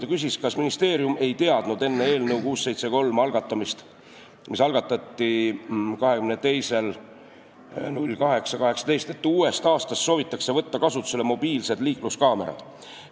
Ta küsis, kas ministeerium ei teadnud enne eelnõu 673 algatamist, mida tehti 22. augustil 2018, et uuest aastast soovitakse võtta kasutusele mobiilsed liikluskaamerad.